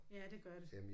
Ja det gør det